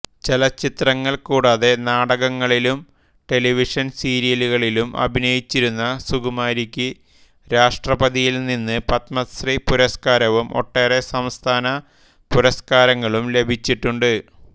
ചലച്ചിത്രങ്ങൾ കൂടാതെ നാടകങ്ങളിലും ടെലിവിഷൻ സീരിയലുകളിലും അഭിനയിച്ചിരുന്ന സുകുമാരിക്ക് രാഷ്ട്രപതിയിൽ നിന്ന് പത്മശ്രീ പുരസ്കാരവും ഒട്ടേറെ സംസ്ഥാന പുരസ്കാരങ്ങളും ലഭിച്ചിട്ടുണ്ട്